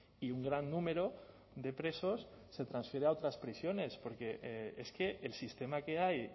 y un gran número de presos se transfiere a otras prisiones porque es que el sistema que hay